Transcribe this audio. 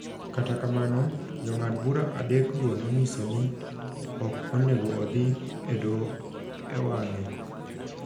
Kata kamano, Jong'ad bura adekgo nonyiso ni ok onego odhi e Doho e wang’e .